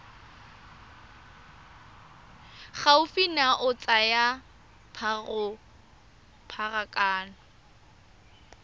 gaufi nao ya tsa pharakano